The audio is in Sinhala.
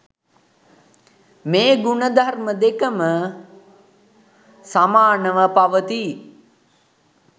මේ ගුණ ධර්ම දෙකම සමානව පවතී.